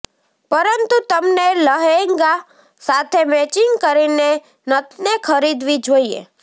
પરંતુ તમને લહેંગા સાથે મેચીંગ કરીને નથને ખરીદવી જોઇએ